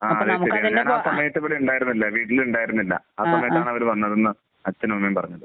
ആഹ്. അതെ. ഞാൻ ആ സമയത്ത് ഉണ്ടായിരുന്നില്ല. വീട്ടിൽ ഉണ്ടായിരുന്നില്ല. ആ സമയത്താണ് അവർ വന്നതെന്ന് അച്ഛനും അമ്മയും പറഞ്ഞത്.